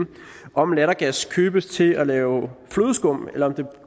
om lattergas købes til at lave flødeskum eller om det